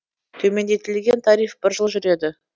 төмендетілген тариф бір жыл жүреді